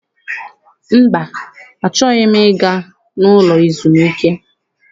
Mba, achọghị m ịga n'ụlọ ezumike.